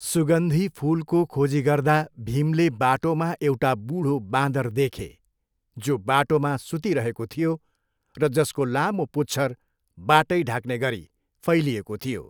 सुगन्धी फुलको खोजी गर्दा भीमले बाटोमा एउटा बुढो बाँदर देखे, जो बाटोमा सुतिरहेको थियो र जसको लामो पुच्छर बाटै ढाक्ने गरी फैलिएको थियो।